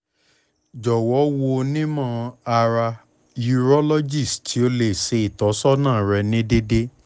jọwọ wo onimọ-ara urologist ti o le ṣe itọsọna rẹ ni deede